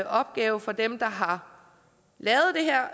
opgave for dem der har